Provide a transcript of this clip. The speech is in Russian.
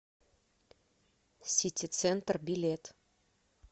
сити центр билет